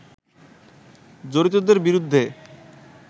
জড়িতদের বিরুদ্ধে